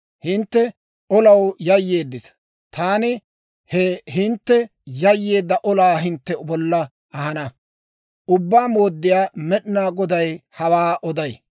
Hintte olaw yayyeeddita; taani he hintte yayyeedda olaa hintte bolla ahana. Ubbaa Mooddiyaa Med'inaa Goday hawaa oday.